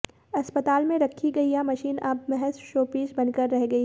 अस्पताल मेें रखी गई यह मशीन अब महज शोपीस बनकर रह गई है